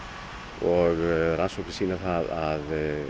og sýna það að